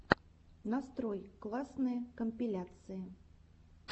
нарой классные компиляции